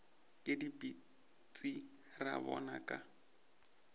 ke dipitsi ra bona ka